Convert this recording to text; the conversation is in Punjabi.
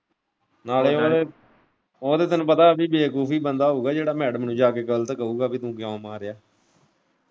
ਨਾਲੇ ਉਹ ਤਾਂ ਤੈਨੂੰ ਪਤਾ ਅਭੀ ਬੇਵਕੂਫ ਬੰਦਾ ਹੀ ਹੋਊਗਾ ਜਿਹੜਾ ਮੈਡਮ ਨੂੰ ਜਾ ਕੇ ਗਲਤ ਕਹੂਗਾ ਕਿ ਤੂੰ ਕਿਉਂ ਮਾਰਿਆ।